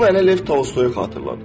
Bu mənə Lev Tolstoyu xatırladır.